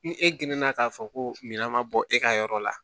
Ni e geninna k'a fɔ ko mina ma bɔ e ka yɔrɔ la